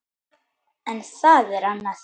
En það er annað.